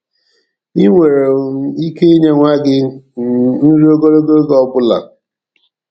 I nwere um ike inye nwa gị um nri ogologo oge ole ọbụla.